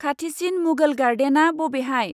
खाथिसिन मुघल गार्डेना बबेहाय?